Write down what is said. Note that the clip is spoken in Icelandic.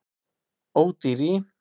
Ódýr í